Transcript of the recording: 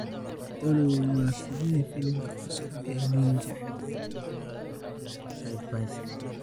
olly waa sidee filimka cusub ee ninja?